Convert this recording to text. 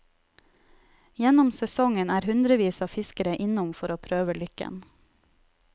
Gjennom sesongen er hundrevis av fiskere innom for å prøve lykken.